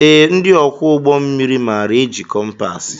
Ee, ndị ọkwọ ụgbọ mmiri maara éjị kọmpaasi.